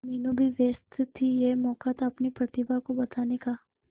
मीनू भी व्यस्त थी यह मौका था अपनी प्रतिभा को बताने का